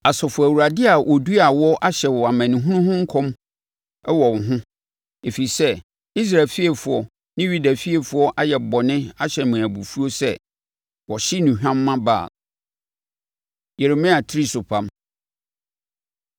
Asafo Awurade a ɔduaa wo no ahyɛ amanehunu ho nkɔm wɔ wo ho, ɛfiri sɛ, Israel fiefoɔ ne Yuda fiefoɔ ayɛ bɔne ahyɛ me abufuo sɛ wɔhye nnuhwam ma Baal. Yeremia Tirisopam